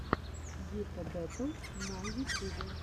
гита бэтл на ютюбе